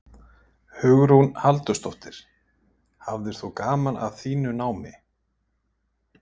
Hugrún Halldórsdóttir: Hafðir þú gaman af þínu námi?